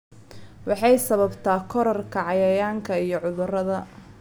Waxay sababtaa kororka cayayaanka iyo cudurrada.